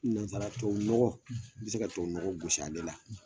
Nanzsara tubabu nɔgɔ i bi se ka tubabu nɔgɔ gosi ale la